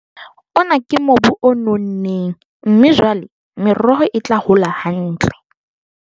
ona ke mobu o nonneng mme jwale meroho e tla hola hantle